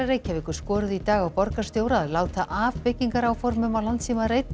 Reykjavíkur skoruðu í dag á borgarstjóra að láta af byggingaráformum á